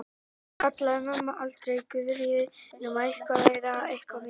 Hann kallaði mömmu aldrei Guðríði nema eitthvað væri að, eitthvað mikið.